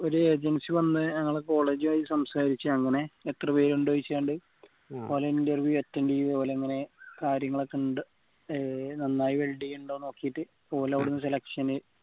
ഒരു agency വന്ന ഞങ്ങളെ college ഉ ആയി സംസാരിച് അങ്ങനെ എത്ര പേര് ഇൻഡ് ചോയ്ച് ഓര interview attend ചെയ്ത ഓല് അങ്ങനെ കാര്യങ്ങളൊക്കെ ഉണ്ട് ഏർ നന്നായി welding ഉണ്ടോ നോക്കിയിട്ട് ഓലവിടുന്ന് selection